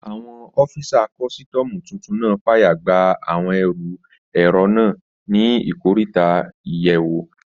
Àwọn ọ́fisà kọ́sítọ́mù tuntun náà fàyè gba àwọn ẹrù èrò náà ní ikoríta àyẹ̀wò